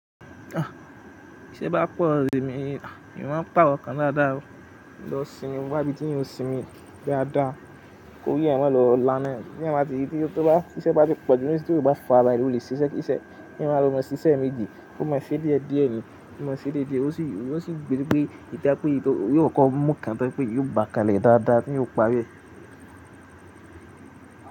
T iṣẹ́ bá pọ̀, èmi, èmi máa ń pàrọ̀ kan dáadáa o. Lọ sinmi n wá ibi tí èèyàn sinmi dáa dáa kórí èèyàn má lọ laná. Tí èèyàn bá tí, tí ó bá, tí iṣẹ́ bá ti pọ̀ nísinyí tí èèyàn ò bá farabalẹ̀ ó lè ṣiṣẹ́ kí iṣẹ́, kí èèyàn má lọ́ mọ ṣiṣẹ́ eeméjì. Ó mọ ṣé díẹ̀ díẹ̀ ni, ó mọ ṣé díẹ̀ díẹ̀, ó sì, ó sì jè o jẹ́ pé ìda pé èyí tò yóò kọ́ko mú kan tó jẹ́ pé èèyàn ó bà kan lẹ̀ dáadáa tí èèyàn ó parí ẹ̀.